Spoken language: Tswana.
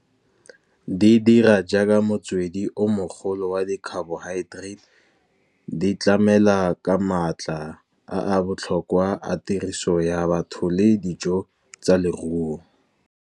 Di dira jaaka motswedi o mogolo wa di-carbohydrates, di tlamela ka maatla a botlhokwa a tiriso ya batho le dijo tsa leruo.